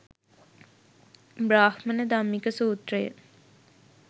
බ්‍රාහ්මණ ධම්මික සූත්‍රය